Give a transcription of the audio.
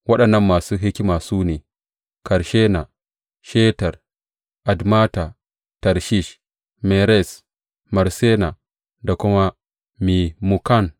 Waɗannan masu hikima kuwa su ne, Karshena, Shetar, Admata, Tarshish, Meres, Marsena da kuma Memukan.